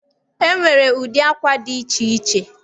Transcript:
E nwere ụdị akwa dị iche iche.